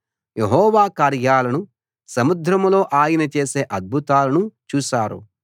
యెహోవా కార్యాలను సముద్రంలో ఆయన చేసే అద్భుతాలను చూశారు